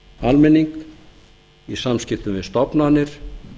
almenning í samskiptum við stofnanir